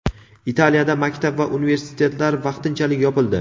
Italiyada maktab va universitetlar vaqtinchalik yopildi.